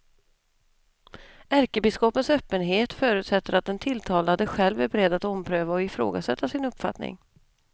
Ärkebiskopens öppenhet förutsätter att den tilltalade själv är beredd att ompröva och ifrågasätta sin uppfattning.